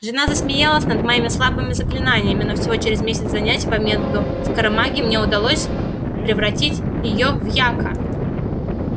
жена смеялась над моими слабыми заклинаниями но всего через месяц занятий по методу скоромагии мне удалось превратить её в яка